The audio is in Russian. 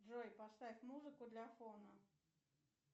джой поставь музыку для фона